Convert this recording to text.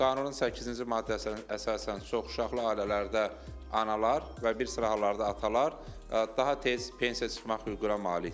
Qanunun səkkizinci maddəsinə əsasən çoxuşaqlı ailələrdə analar və bir sıra hallarda atalar daha tez pensiya çıxmaq hüququna malikdir.